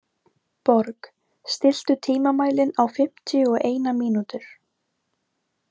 Borg, stilltu tímamælinn á fimmtíu og eina mínútur.